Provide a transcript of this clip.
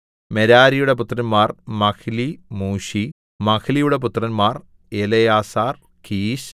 മെരാരിയുടെ പുത്രന്മാർ Mahli Mushi മഹ്ലിയുടെ പുത്രന്മാർ എലെയാസാർ കീശ്